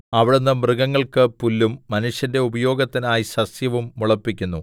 അവിടുന്ന് മൃഗങ്ങൾക്ക് പുല്ലും മനുഷ്യന്റെ ഉപയോഗത്തിനായി സസ്യവും മുളപ്പിക്കുന്നു